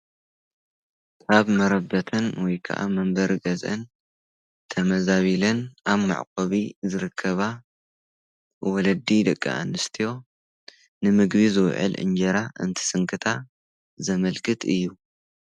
ካብ መረበትን ወይከዓ መንበር ገዘኣን ተመዛቢልን ኣብ ማዕቆቢ ዝርከባ ወለዲ ደቂ ኣንስትዮ ንምግቢ ዝውዕል እንጀራ እንትስንክታ ዘመልክት እዩ።